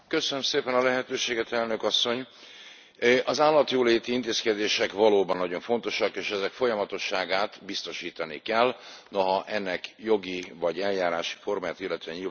Elnök Asszony, az állatjóléti intézkedések valóban nagyon fontosak, és ezek folyamatosságát biztosítani kell, noha ennek jogi vagy eljárási formáját illetően nyilván lehetnek viták.